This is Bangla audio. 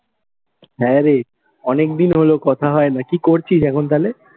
হ্যাঁ রে, অনেকদিন হলো কথা হয় না। কি করছিস এখন তালে?